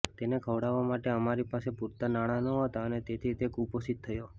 તેને ખવડાવવા માટે અમારી પાસે પૂરતા નાણાં નહોતા અને તેથી તે કુપોષિત થયો